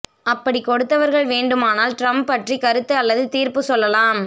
அப்படி கொடுத்தவர்கள் வேண்டுமானால் டிரம்ப் பற்றி கருத்து அல்லது தீர்ப்பு சொல்லலாம்